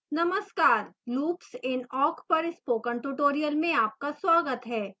नमस्कार loops in awk पर spoken tutorial में आपका स्वागत है